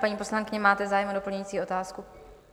Paní poslankyně, máte zájem o doplňující otázku?